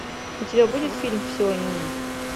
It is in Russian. у тебя будет фильм все о нине